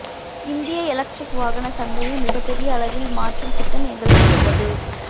இந்திய எலக்ட்ரிக் வாகன சந்தையை மிகப் பெரிய அளவில் மாற்றும் திட்டம் எங்களிடம் உள்ளது